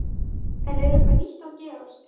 En er eitthvað nýtt að gerast?